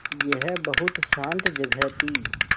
यह बहुत शान्त जगह थी